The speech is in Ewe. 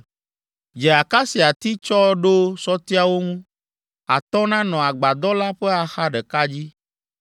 “Dze akasiati tsɔ ɖo sɔtiawo ŋu. Atɔ̃ nanɔ agbadɔ la ƒe axa ɖeka dzi;